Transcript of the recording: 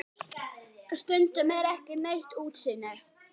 Stundum er ekki neitt útsýni!